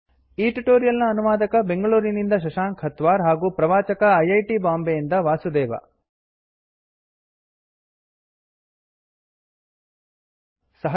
H T T P slash slash spoken hyphen tutorial dot O R G slash N M E C T hyphen intro dot ಈ tutorial ನ ಅನುವಾದಕ ಬೆಂಗಳೂರಿನಿಂದ ಶಶಾಂಕ ಹತ್ವಾರ್ ಹಾಗೂ ಪ್ರವಾಚಕ I I T ಬಾಂಬೆಯಿಂದ ವಾಸುದೇವ